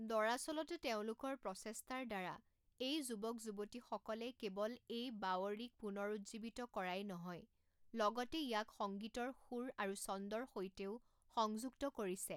দৰাচলতে, তেওঁলোকৰ প্ৰচেষ্টাৰ দ্বাৰা, এই যুৱক যুৱতীসকলে কেৱল এই বাৱড়ীক পুনৰুজ্জীৱিত কৰাই নহয়, লগতে ইয়াক সংগীতৰ সুৰ আৰু চন্দৰ সৈতেও সংযুক্ত কৰিছে।